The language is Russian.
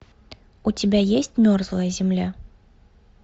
у тебя есть мерзлая земля